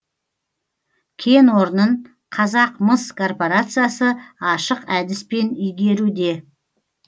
кен орнын қазақмыс корпорациясы ашық әдіспен игеруде